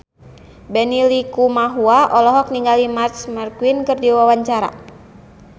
Benny Likumahua olohok ningali Marc Marquez keur diwawancara